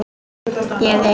Ég yrði ein.